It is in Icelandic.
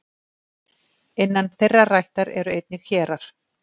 innan þeirrar ættar eru einnig hérar